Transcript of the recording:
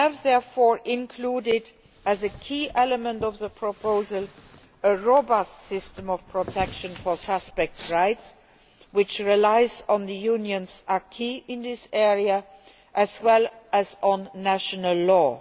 We have, therefore, included as a key element of the proposal a robust system of protection for suspects' rights, which relies on the Union's acquis in this area, as well as on national law.